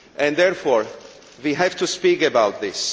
Therefore we have to speak about this.